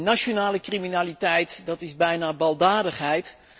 Nationale criminaliteit is bijna baldadigheid